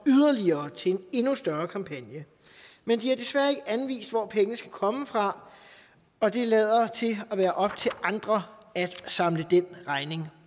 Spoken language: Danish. yderligere til en endnu større kampagne men de har desværre ikke anvist hvor pengene skal komme fra og det lader til at være op til andre at samle den regning